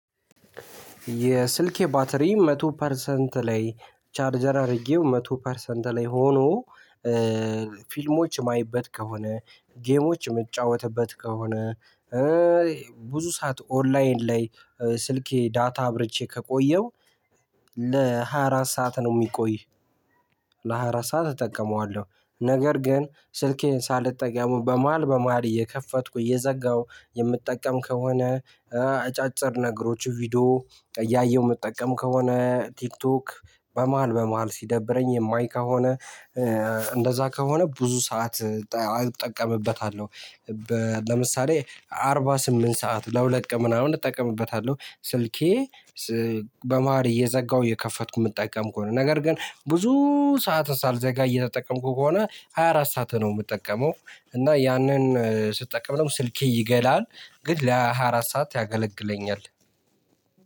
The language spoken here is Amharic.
የስልኬ ባትሪ መቶ ፐርሰንት ላይ ቻርጀር አድርጌው መቶ ፐርሰንት ላይ ሆኖ ፊልሞች የማይበት ከሆነ ጌሞች የምጫወትበት ከሆነ ብዙ ሰዓት ኦንላይን ላይ ስልኬ ዳታ አብርቼ ከቆየው ለሃያ አራት ሰዓት ነው የሚቆይ። ለሃያ አራት ሰዓት እጠቀመዋለሁ ነገር ግን ስልኬን ሳልጠቀመው በመሃል በመሃል እየከፈትኩ እየዘጋሁ የምትጠቀም ከሆነ አጫጭር ነገሮች ቪዲዮ እያየሁ ምጠቀም ከሆነ ቲክቶክ በመሃል በመሃል ሲደብረኝ የማይ ከሆነ እንደዛ ከሆነ ብዙ ሰዓት እጠቀምበታለሁ። ለምሳሌ አርባ ስምንት ሰዓት ለሁለት ቀን ምናምን እጠቀምበታለሁ ስልኬ። በመሃል እየዘጋሁ እየከፈትኩ የምጠቀም ከሆነ ነገር ግን ብዙ ሰዓት ሳልዘጋ እየተጠቀምኩ ከሆነ ሃያ አራት ሰዓት ነው የምጠቀመው እና ያንን ስትጠቀም ነው ስልኬ ይግላል። ግን ለሃያ አራት ሰዓት ያገለግለኛል።